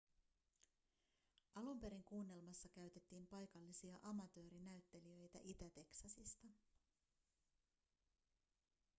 alun perin kuunnelmassa käytettiin paikallisia amatöörinäyttelijöitä itä-teksasista